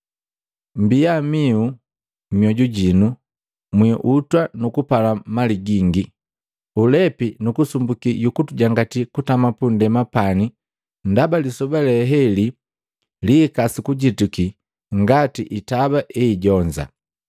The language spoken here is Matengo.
“Mbia miu! Myoju jinu mwiiutwa nukupala mali gingi, ulepi nukusumbuki yukutujangati kutama pundema pani ndaba lisoba leheli lihika sukujituki ngati itaba eijonza.